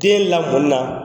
Den lamɔni na,